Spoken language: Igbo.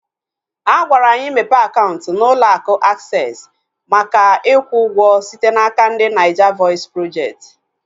Agwara anyị mepe akaụntụ na ụlọ akụ Aksesị maka ikwu ụgwọ site n'aka ndị Naija vọis projekti